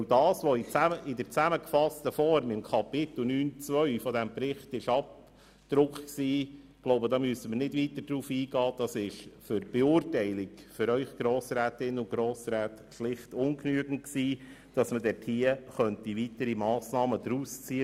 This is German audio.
Das, was in zusammengefasster Form unter Kapitel 9.2 des Berichts zum EP abgedruckt war, war für die Beurteilung durch die Grossrätinnen und Grossräte schlicht ungenügend und nicht geeignet, um weitere Massnahmen auszuwählen.